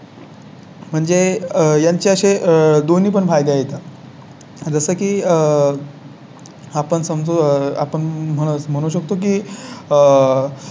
म्हणजे आह यांचे दोन्ही पण फायदे आहेत. जसं की आह. आपण समजा आपण म्हणू शकतो की